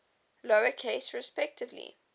lower case respectively